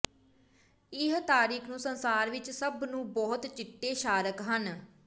ਇਹ ਤਾਰੀਖ ਨੂੰ ਸੰਸਾਰ ਵਿੱਚ ਸਭ ਨੂੰ ਬਹੁਤ ਚਿੱਟੇ ਸ਼ਾਰਕ ਹੈ